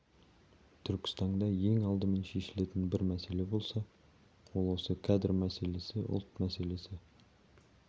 түркістанда ең алдымен шешілетін бір мәселе болса ол осы кадр мәселесі ұлт мәселесі